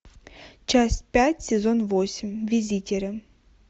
часть пять сезон восемь визитеры